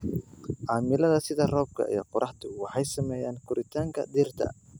Cimilada sida roobka iyo qoraxdu waxay saameeyaan koritaanka dhirta.